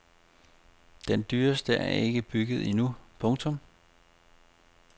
Den dyreste er ikke bygget endnu. punktum